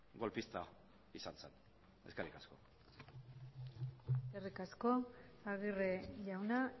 golpista izan zen eskerrik asko eskerrik asko aguirre jauna